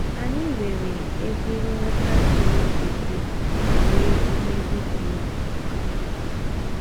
Anyị nwere ezi nghọta ziri ezi banyere ihe ndị dị otu a.